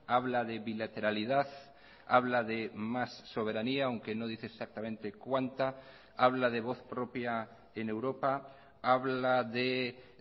habla de bilateralidad habla de más soberanía aunque no dice exactamente cuánta habla de voz propia en europa habla de